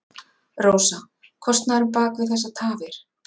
Rósa: Kostnaðurinn bak við þessar tafir?